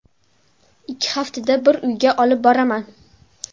Ikki haftada bir uyga olib boraman.